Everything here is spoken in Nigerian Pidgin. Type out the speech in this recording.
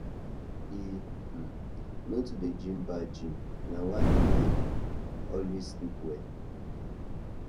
he um no too dey dream bad dream na why he dey always sleep well